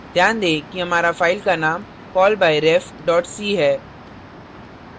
ध्यान दें कि हमारी file का name callbyref c है